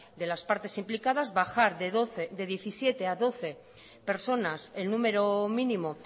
de las partes implicadas bajar de diecisiete a doce personas el numero mínimo